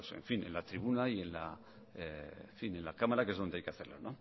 en fin en la tribuna y en la cámara que es donde hay que hacerla